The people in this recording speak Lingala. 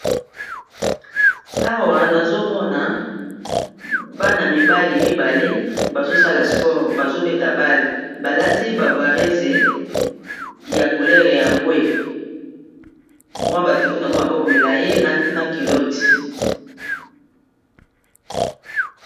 awa nazomona bana mibale mibale bazosala sport bazobeta bale balati bavarese ya culere ya mbwe mwa batricoe aga maboko milai na kilote